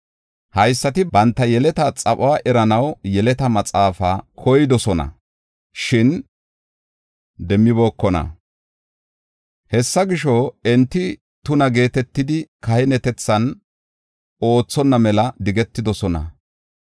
Haysati banta yeleta xaphuwa eranaw yeleta maxaafan koydosona, shin demmibookona. Hessa gisho, enti tuna geetetidi kahinetethan oothonna mela digetidosona.